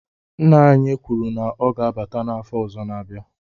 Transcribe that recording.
Nna anyi kwuru na o ga-abata n'afo ozo n'abia